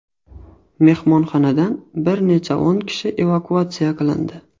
Mehmonxonadan bir necha o‘n kishi evakuatsiya qilindi.